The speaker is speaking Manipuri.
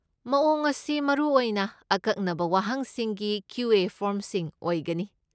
ꯃꯑꯣꯡ ꯑꯁꯤ ꯃꯔꯨꯑꯣꯏꯅ ꯑꯀꯛꯅꯕ ꯋꯥꯍꯪꯁꯤꯡꯒꯤ ꯀ꯭ꯌꯨ.ꯑꯦ. ꯐꯣꯔꯝꯁꯤꯡ ꯑꯣꯏꯒꯅꯤ ꯫